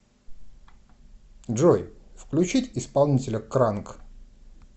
джой включить исполнителя кранк